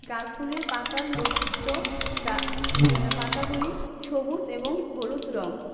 গাছগুলির পাতার বৈশিষ্ট্য গা-গ পাতাগুলি সবুজ এবং হলুদ রঙ.